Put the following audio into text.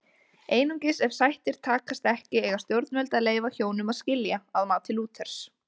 Einungis ef sættir takast ekki eiga stjórnvöld að leyfa hjónum að skilja að mati Lúthers.